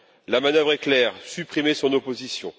La manœuvre est claire supprimer son opposition.